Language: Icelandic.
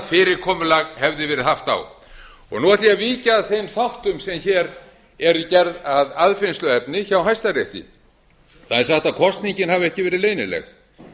fyrirkomulag hefði verið haft á nú ætla ég að víkja að þeim þáttum sem hér eru gerð að aðfinnsluefni hjá hæstarétti það er sagt að kosningin hafi ekki verið leynileg